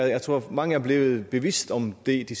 jeg tror mange er blevet bevidst om det i de